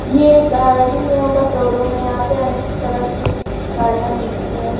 ये एक गाड़ीयों का शोरूम है यहाँ पर अनेक तरह की गाड़ियाँ मिलती हैं।